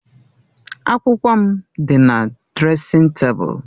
Akwụkwọ m dị na dresịn tebụl.